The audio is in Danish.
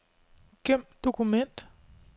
Gem dokument.